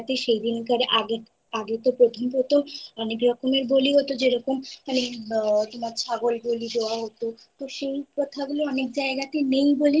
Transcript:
অনেক জায়গাতে সেই দিনকারে আ আগে তো প্রথম প্রথম অনেক রকমের বলি হতো যেরকম মানে আ হয় ছাগল বলি দেওয়া হতো সেই প্রথা গুলো অনেক জায়গাতে